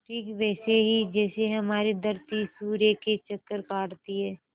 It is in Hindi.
ठीक वैसे ही जैसे हमारी धरती सूर्य के चक्कर काटती है